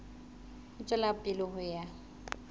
ho tswela pele ho ya